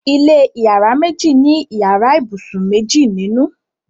ilé iyàrá méjì ní iyàrá ibusùn méjì ninu